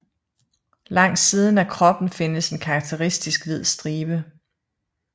Langs siden af kroppen findes en karakteristisk hvid stribe